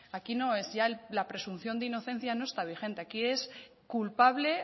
aquí no es ya la presunción de inocencia no está vigente aquí es culpable